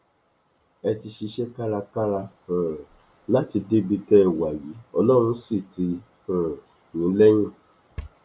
ẹ ti ṣiṣẹ kárakára um láti débi tẹ ẹ wà yìí ọlọrun sì tì um yín lẹyìn